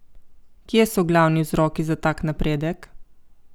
Kje so glavni vzroki za tak napredek?